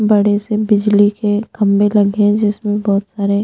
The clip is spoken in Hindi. बड़े से बिजली के खम्बे लगे है जिसमे बहोत सारे--